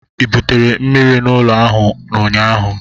ị butere mmiri n'ụlọ ahụ ụnyaahụ?